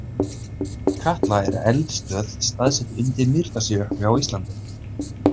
Katla er eldstöð staðsett undir Mýrdalsjökli á Íslandi.